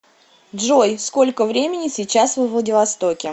джой сколько времени сейчас во владивостоке